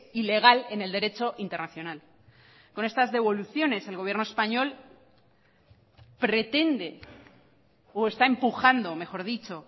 ilegal en el derecho internacional con estas devoluciones el gobierno español pretende o está empujando mejor dicho